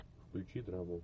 включи драму